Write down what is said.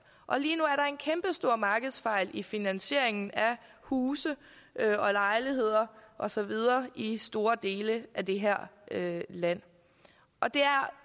og lige nu er der en kæmpestor markedsfejl i finansieringen af huse og lejligheder og så videre i store dele af det her land og det er